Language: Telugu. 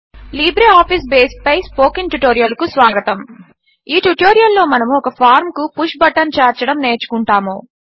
లిబ్రే ఆఫీస్ బేస్ పై స్పోకెన్ ట్యుటోరియల్కు స్వాగతం ఈ ట్యుటోరియల్లో మనము ఒక ఫార్మ్ కు పుష్ బటన్ చేర్చడము నేర్చుకుంటాము